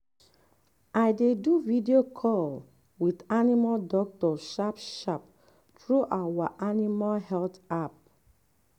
i dey do video call with animal doctor sharp-sharp through our animal health app. um